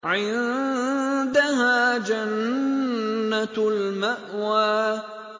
عِندَهَا جَنَّةُ الْمَأْوَىٰ